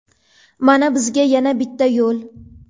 Mana bizga yana bitta yo‘l.